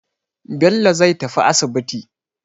Bello zai tafi asibiti.